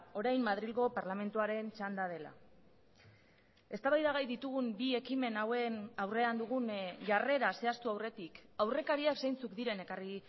orain madrilgo parlamentuaren txanda dela eztabaida gai ditugun bi ekimen hauen aurrean dugun jarrera zehaztu aurretik aurrekariak zeintzuk diren ekarri